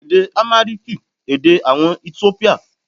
Èdè Àmáríkìì, èdè àwọn Etiópíà.